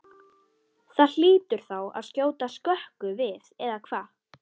Það hlýtur þá að skjóta skökku við eða hvað?